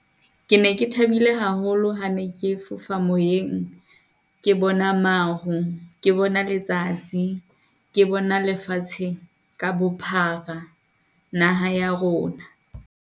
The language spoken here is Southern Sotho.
Ke ne ke thabile haholo ha ne ke fofa moyeng ke bona maru, ke bona letsatsi, ke bona lefatsheng ka bophara, naha ya rona.